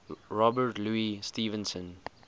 robert louis stevenson